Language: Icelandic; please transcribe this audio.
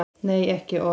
Nei, ekki orð.